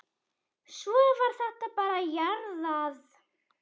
Svo var þetta bara jarðað.